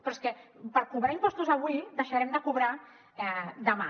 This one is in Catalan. però és que per cobrar impostos avui deixarem de cobrar demà